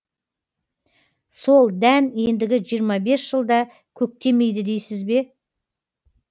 сол дән ендігі жиырма бес жылда көктемейді дейсіз бе